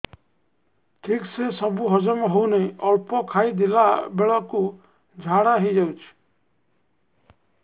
ଠିକସେ ସବୁ ହଜମ ହଉନାହିଁ ଅଳ୍ପ ଖାଇ ଦେଲା ବେଳ କୁ ଝାଡା ହେଇଯାଉଛି